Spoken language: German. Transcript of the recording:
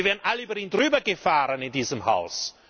Wie wären alle über ihn drüber gefahren in diesem Haus!